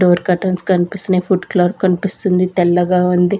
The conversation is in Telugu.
డోర్ కర్టెన్స్ కనిపిస్తున్నాయి ఫుడ్ క్లాత్ కనిపిస్తుంది తెల్లగా ఉంది.